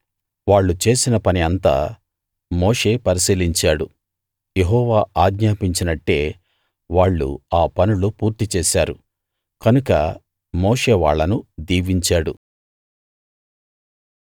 వాళ్ళు చేసిన పని అంతా మోషే పరిశీలించాడు యెహోవా ఆజ్ఞాపించినట్టే వాళ్ళు ఆ పనులు పూర్తి చేశారు కనుక మోషే వాళ్ళను దీవించాడు